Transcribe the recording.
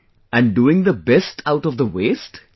and doing the 'best' out of the 'waste'...